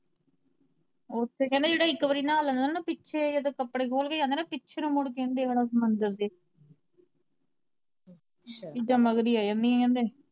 ਓੱਥੇ ਕਹਿੰਦੇ ਜਿਹੜਾ ਇੱਕ ਵਾਰੀ ਨਹਾ ਲੈਂਦਾ ਨਾ, ਪਿੱਛੇ ਜਦੋਂ ਕੱਪੜੇ ਖੋਲ ਕੇ ਜਾਂਦਾ ਨਾ, ਪਿੱਛੇ ਨੂੰ ਮੁੜ ਕੇ ਨੀ ਦੇਖਦਾ ਓਸ ਮੰਦਿਰ ਦੇ ਚੀਜਾਂ ਮਗਰ ਹੀ ਆ ਜਾਂਦੀਆ ਕਹਿੰਦੇ।